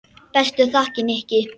Bestu þakkir, Nikki.